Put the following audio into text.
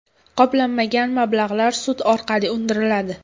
Qoplanmagan mablag‘lar sud orqali undiriladi.